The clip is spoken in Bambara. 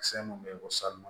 Kisɛ mun bɛ bɔ